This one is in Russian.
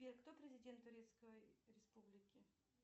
сбер кто президент турецкой республики